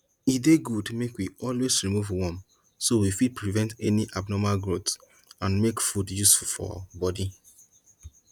e dey good make we always remove worm so we fit prevent any abnormal growth and make food useful for body